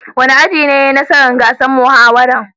Wani aji ne ya yi nasara gasar muhawaran?